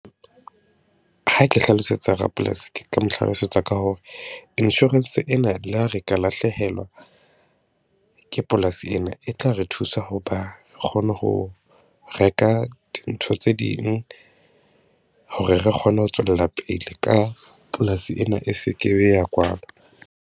Ha ke hlalosetsa rapolasi, ke ka mo hlalosetsa ka hore insurance ena, le ha re ka lahlehelwa ke polasi ena, e tla re thusa ho ho ba re kgone ho reka dintho tse ding hore re kgone ho tswella pele ka polasi ena. E seke be ya kwalwa.